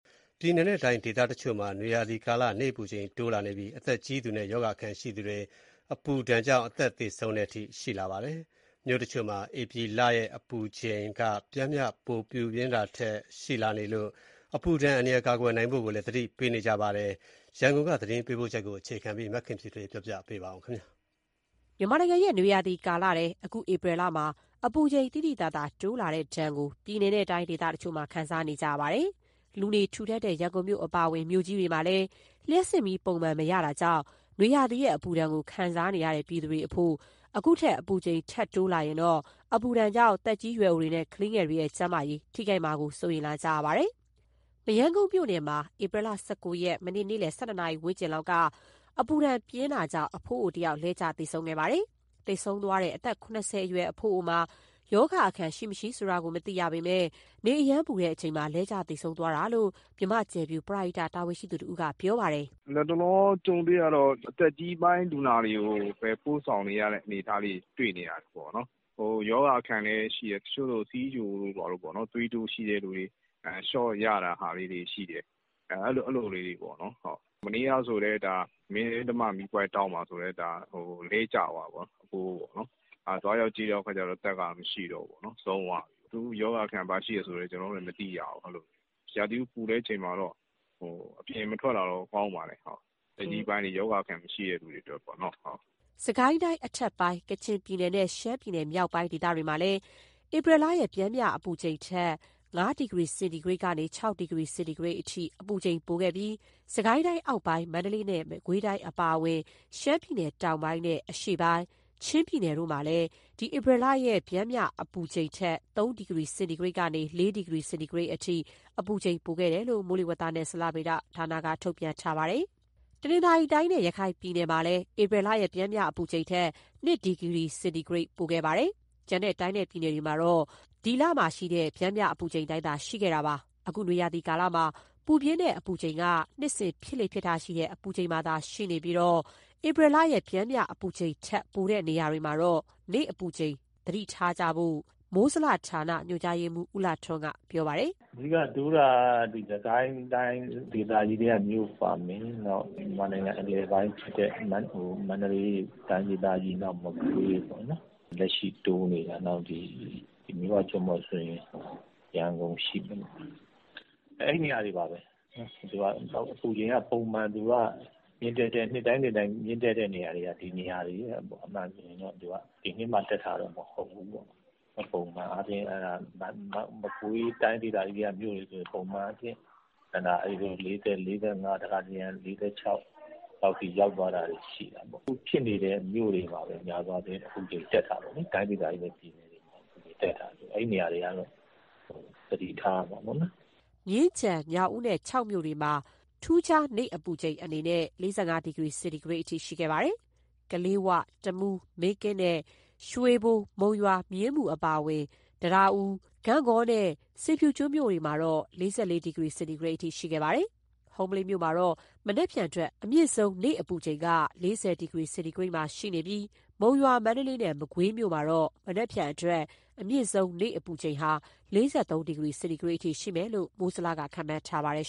ပြည်နယ်နဲ့တိုင်း ဒေသတချို့မှာ နွေရာသီကာလ နေ့အပူချိန်တိုးလာနေပြီး အသက်ကြီးသူနဲ့ ရောဂါအခံရှိသူတွေ အပူဒဏ်ကြောင့် အသက်သေဆုံးတဲ့အထိ ရှိလာပါတယ်။ မြို့တချို့မှာ ဧပြီလရဲ့ ပျမ်းမျှအပူချိန်ထက် ပိုပူပြင်းတာလည်း ရှိလာနေလို့ အပူဒဏ်အန္တရာယ် ကာကွယ်နိုင်ဖို့ကိုလည်း သတိပေးနေကြပါတယ်။ ဒီအကြောင်း ရန်ကုန်က သတင်းပေးပို့ချက်ကို အခြေခံပြီး မခင်ဖြူထွေး ပြောပြမှာပါ။ မြန်မာနိုင်ငံရဲ့ နွေရာသီကာလထဲ အခုဧပြီလမှာ အပူချိန်သိသိသာသာ တိုးလာတဲ့ဒဏ်ကို ပြည်နယ်နဲ့တိုင်း ဒေသတချို့မှာ ခံစားနေရတာပါ။ လူနေထူထပ်တဲ့ ရန်ကုန်မြို့အပါအဝင် မြို့ကြီးတွေမှာလည်း လျှပ်စစ်မီးပုံမှန် မရကြတာကြောင့် နွေရာသီရဲ့ အပူဒဏ်ကို ခံစားနေကြရသူ ပြည်သူတွေအဖို့ အခုထက် အပူချိန်ထပ်တိုးရင် အပူဒဏ်ကြောင့် သက်ကြီးရွယ်အိုတွေနဲ့ ကလေးငယ်တွေရဲ့ ကျန်းမာရေးထိခိုက်မှာကို စိုးရိမ်နေကြပါတယ်။ ဧပြီလ ၁၉ ရက်၊ မနေ့က နေ့လည် ၁၂ နာရီဝန်းကျင်အချိန်မှာ နွေအပူရှိန်ကြောင့် အဖိုးအိုတဦးလဲကျသေဆုံးတဲ့ ဖြစ်စဉ်လည်း မရမ်းကုန်းမြို့နယ်မှာ ဖြစ်ခဲ့ပါတယ်။ သေဆုံးသွားတဲ့ အသက် ၇၀ အရွယ် အဖိုးအိုမှာ ရောဂါအခံရှိ၊ မရှိဆိုတာကိုတော့ မသိရပေမယ့် နေအရမ်းပူတဲ့အချိန်မှာ လဲကျသေဆုံးသွားတာလို့ မြန်မာ့ကြယ်ဖြူပရဟိတတာဝန်ရှိသူတဦးက ပြောပါတယ်။ "လတ်တလော ကြုံတွေ့နေရတာတော့ အသက်ကြီးပိုင်း လူနာတွေကို ပို့ဆောင်နေရတဲ့ အနေအထားတွေပေါ့။ ရောဂါအခံလည်း ရှိတယ်။ တချို့ဆို ဆီးချိုနဲ့ သွေးတိုးရှိတဲ့သူတွေ ရှော့ခ်ရတာတွေရှိတယ်။ မနေ့ကဆိုရင်လည်း မင်းဓမ္မမီးပွိုင့်ထောင့်မှာ အဖိုးအိုတဦး လဲကျသွားတာ။ သွားရောက်ကြည့်တဲ့ အခါကျတော့ အသက်ကမရှိတော့ဘူး။ သူ့ရောဂါအခံ ဘာရှိတယ်ဆိုတာတော့ ကျနော်တို့လည်း မသိရဘူး။ ရာသီဥတုပူတော့ အသက်ကြီးပိုင်းတွေ၊ ရောဂါအခံရှိတဲ့ သူတွေကတော့ အပြင်မထွက်တာ ကောင်းပါတယ်။" စစ်ကိုင်းတိုင်းအထက်ပိုင်း၊ ကချင်ပြည်နယ်နဲ့ ရှမ်းပြည်နယ်မြောက်ပိုင်းတို့မှာ ဧပြီလရဲ့ ပျမ်းမျှအပူချိန်ထက် ၅ ဒီဂရီစင်တီဂရိတ်ကနေ ၆ ဒီဂရီစင်တီဂရိတ်အထိ အပူချိန်ပိုခဲ့ပြီး၊ စစ်ကိုင်းတိုင်းအောက်ပိုင်း၊ မန္တလေးတိုင်းနဲ့ မကွေးတိုင်း အပါအဝင် ရှမ်းပြည်နယ်တောင်ပိုင်းနဲ့ အရှေ့ပိုင်း၊ ချင်းပြည်နယ်တို့မှာ ဧပြီလရဲ့ ပျမ်းမျှအပူချိန်ထက် ၃ ဒီဂရီစင်တီဂရိတ်ကနေ ၄ ဒီဂရီစင်တီဂရိတ်အထိ အပူချိန်ပိုခဲ့တယ်လို့ မိုးလေဝသနဲ့ ဇလဗေဒဌာနက ထုတ်ပြန်ထားပါတယ်။ တနင်္သာရီတိုင်းနဲ့ ရခိုင်ပြည်နယ်မှာတော့ ဧပြီလရဲ့ ပျမ်းမျှအပူချိန်ထက် ၂ ဒီဂရီစင်တီဂရိတ် ပိုခဲ့ပြီး၊ ကျန်တဲ့ တိုင်းနဲ့ ပြည်နယ်တွေမှာ ဧပြီလရဲ့ ပျမ်းမျှအပူချိန်သာ ရှိခဲ့ပါတယ်။ အခု နွေရာသီကာလမှာ ပူပြင်းတဲ့အပူချိန်က နှစ်စဉ်ဖြစ်လေ့ရှိတဲ့ အပူချိန်မှာသာ ရှိနေပြီး၊ ဧပြီလရဲ့ ပျမ်းမျှအပူချိန်ထက် ပိုတဲ့နေရာတွေမှာတော့ နေ့အပူချိန် သတိထားဖို့ကို မိုးဇလဌာန ညွှန်ကြားရေးမှူး ဦးလှထွန်းက ပြောပါတယ်။ "အဓိက နေ့အပူချိန်တိုးတာက စစ်ကိုင်းတိုင်းဒေသကြီးထဲက မြို့တွေပါမယ်။ မြန်မာနိုင်ငံ အလယ်ပိုင်းဖြစ်တဲ့ မန္တလေးတိုင်းနဲ့ မကွေးပေါ့နော်။ လက်ရှိတိုးနေတာ ဒီမြစ်ဝကျွန်းပေါ်ဆိုရင် ရန်ကုန်ရှိမယ်။ အဲဒီနေရာတွေပါပဲ၊ နှစ်တိုင်းပုံမှန် အပူချိန်မြင့်တက်တဲ့ နေရာတွေပါ၊ ဒီနှစ်မှ တက်တာတော့ မဟုတ်ဘူးပေါ့။ မကွေးတိုင်းဒေသကြီးထဲက မြို့တွေဆိုရင် ပုံမှန်အားဖြင့်တက်တာ ၄၀၊ ၄၅ တခါတရံ ၄၆ လောက်ထိ ရောက်သွားတာတွေ ရှိတယ်။ အပူချိန်တက်တာက အခုဖြစ်နေတဲ့ တိုင်းဒေသကြီးနဲ့ ပြည်နယ်တွေထဲက မြို့တွေပါပဲ။ အဲဒီနေရာတွေကတော့ သတိထားရမှာပေါ့နော်။" မြင်းခြံ၊ ညောင်ဦးနဲ့ ချောက်မြို့မှာ ထူးခြားနေ့အပူချိန် အနေနဲ့ ၄၅ ဒီဂရီစင်တီဂရိတ်အထိ ရှိခဲ့ပါတယ်။ ကလေးဝ၊ တမူး၊ မင်းကင်းနဲ့ ရွှေဘို၊ မုံရွာ၊ မြင်းမူ အပါအဝင် တံတားဦး၊ ဂန့်ဂေါနဲ့ ဆင်ဖြူကျွန်းမြို့မှာတော့ ၄၄ ဒီဂရီစင်တီဂရိတ်အထိ ရှိခဲ့ပါတယ်။ ဟုမ္မလင်းမြို့မှာတော့ မနက်ဖြန်အတွက် အမြင့်ဆုံး နေ့အပူချိန်က ၄၀ ဒီဂရီစင်တီဂရိတ်မှာ ရှိနေပြီး၊ မုံရွာ၊ မန္တလေးနဲ့ မကွေးမြို့မှာတော့ မနက်ဖြန်အတွက် အမြင့်ဆုံး နေ့အပူချိန် ၄၃ ဒီဂရီစင်တီဂရိတ်အထိ ရှိမယ်လို့ မိုးဇလက ခန့်မှန်းထားပါတယ်